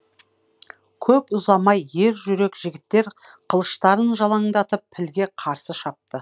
көп ұзамай ер жүрек жігіттер қылыштарын жалаңдатып пілге қарсы шапты